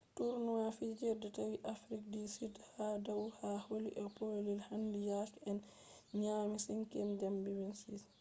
tournament fijirde tawi south africa ha dau ha holi ɓe ɗo pellel handi yake ɓe nyami 5th zambia 26-00